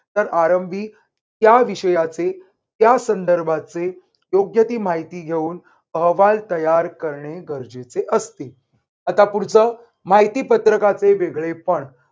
तर आरंभी त्या विषयाचे त्यासंदर्भाचे योग्य ती माहिती घेऊन अहवाल तयार करणे गरजेचे असते. आता पुढचं. माहितीपत्रकाचे वेगळेपण